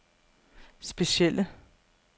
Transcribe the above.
specielle